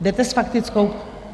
Jdete s faktickou?